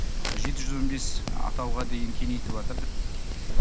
жеті жүз он бес атауға дейін кеңейтіватыр